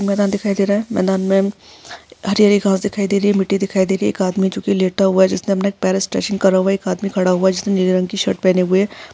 मैदान दिखाई दे रहा है मैदान में हरी हरी घास दिखाई दे रही मिट्टी दिखाई दे रही एक आदमी जो की लेटा हुआ है जिसने अपने करा हुआ है एक आदमी खड़ा हुआ जिसने नीले रंग की शर्ट पहने हुए --